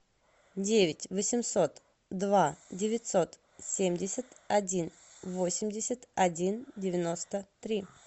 девять восемьсот два девятьсот семьдесят один восемьдесят один девяносто три